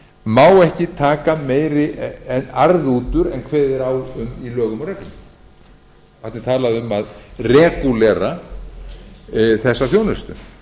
má ekki taka meiri arð út úr en kveðið er á um í lögum og reglum þarna er talað um að regúlera þessa þjónustu